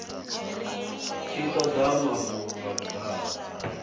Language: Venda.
tshi toda mafhungo nga vhudalo